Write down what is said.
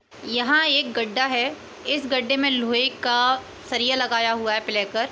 यहाँ एक गड्ढा है। इस गड्ढे मे लोहे का सरिया लगाया हुआ है प्ले कर --